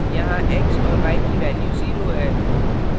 यहाँ x और y की value 0 है